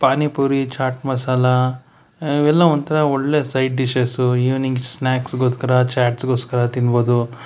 ಪಾನಿಪುರಿ ಚಾಟ ಮಸಾಲ ಇವೆಲ್ಲ ಒಂಥರಾ ಒಳ್ಳೆ ಸೈಟ--- ಈವನಿಂಗ ಸ್ನಾಕ್ಸ್ ಗೋಸ್ಕರ ಚಾಟ ಗೋಸ್ಕರ ತಿನ್ನಬಹುದು.